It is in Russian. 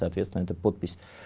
соответственно это подпись